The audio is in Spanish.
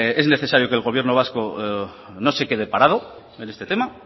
es necesario que el gobierno vasco no se quede parado en este tema